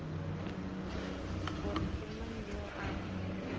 gore ke mang yoo a